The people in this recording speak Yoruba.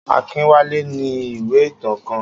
Akínwálé ní ìwé ìtàn kan.